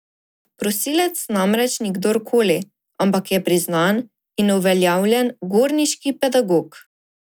Prosilec namreč ni kdor koli, ampak je priznan in uveljavljen gorniški pedagog.